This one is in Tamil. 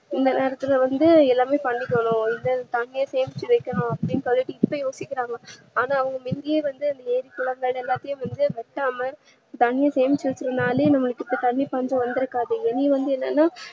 இந்த நேரத்துல வந்து எல்லாமே பன்னிக்கணும் இதுல தண்ணிய சேமிச்சி வைக்கணும் அப்டிண்டே குழப்பிகிட்டே யோசிக்கறாங்க ஆன்னா அவங்க முன்னையே வந்து ஏறி குளங்கள் எல்லாத்தையும் வத்தாம தண்ணிய சேமிச்சி வச்சனாலே தண்ணீ பஞ்சம் வந்து இருக்காது இனி வந்து என்னனா